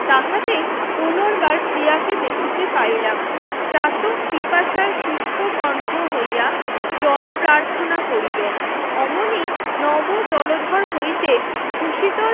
তাহাতে পুনর্বার প্রিয়াকে দেখিতে পাইলাম ছাতক পিপাসার সুস্খ কণ্ঠ হইয়া জল প্রার্থনা করিল অমনি নব জলধর হইতে সুসিত